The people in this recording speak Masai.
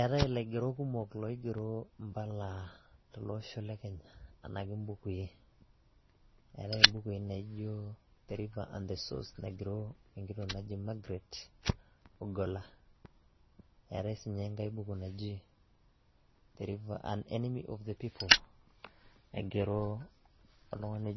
eetae ilaigerok kumok loigero impala teloosho lekenya etae ibukui naaji river the source ,naigero magret onkola etae ssiininye ankai buku naaji unenemy of the people, naigero oltung'ani